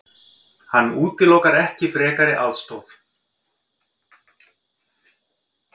Hann útilokar ekki frekari aðstoð.